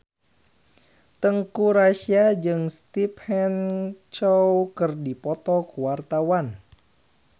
Teuku Rassya jeung Stephen Chow keur dipoto ku wartawan